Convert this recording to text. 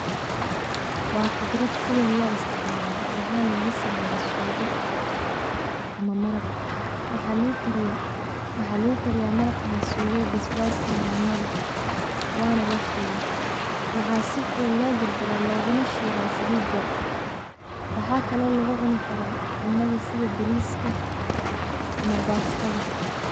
Waa qudrad si weyn loo isticmaalo waxana laga sameeya suugo ama maraq ,waxa lugu kariya sugada ama maraqa basbas nyaanya leh, wana lashiila waxaa si fudud loo jarjaraa luguna shiila saliid yar, waxa kalo lugu cuni karaa cunada sida bariiska ama bastada